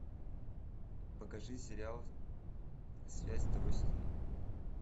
покажи сериал связь второй сезон